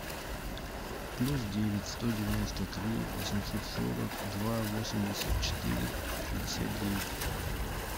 плюс девять сто девяносто три восемьсот сорок два восемьдесят четыре шестьдесят девять